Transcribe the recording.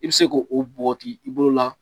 I bɛ se k'o o bɔgɔti i bolo la